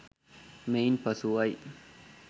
මෙයින් පසුවයි.